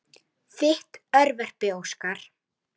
Leikið á óbó og fiðlu.